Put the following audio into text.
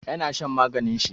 Ya na shan maganin shi.